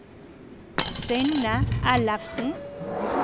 Synne Ellefsen